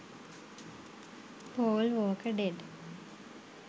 paul walker dead